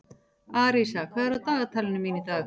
Arisa, hvað er á dagatalinu mínu í dag?